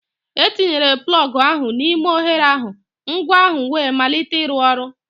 Etinyere plọg ahụ n'ime oghere ahụ, ngwa ahụ wee malite ịrụ ọrụ.